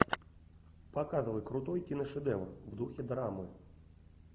показывай крутой киношедевр в духе драмы